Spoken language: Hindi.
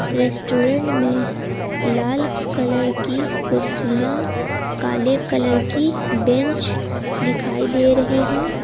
रेस्टोरेंट में लाल कलर की कुर्सियां काले कलर की बेंच दिखाई दे रही है।